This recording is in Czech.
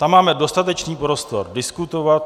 Tam máme dostatečný prostor diskutovat.